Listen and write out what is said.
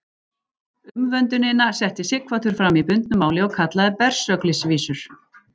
Umvöndunina setti Sighvatur fram í bundnu máli og kallaði Bersöglisvísur.